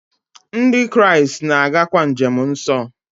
Ndị Kraịst na-agakwa njem nsọ.